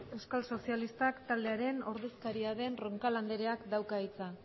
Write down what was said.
euskal sozialistak taldearen ordezkaria den roncal andereak dauka hitza